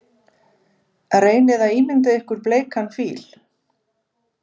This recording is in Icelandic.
Reynið að ímynda ykkur bleikan fíl.